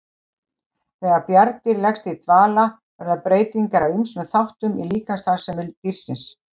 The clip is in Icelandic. Þegar bjarndýr leggst í dvala verða breytingar á ýmsum þáttum í líkamsstarfsemi dýrsins.